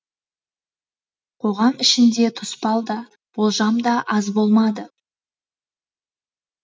қоғам ішінде тұспал да болжам да аз болмады